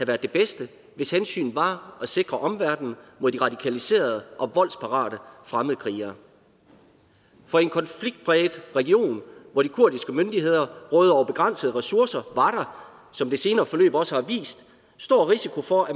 været det bedste hvis hensynet var at sikre omverdenen mod de radikaliserede og voldsparate fremmedkrigere for i en konfliktpræget region hvor de kurdiske myndigheder råder over begrænsede ressourcer var der som det senere forløb også har vist stor risiko for at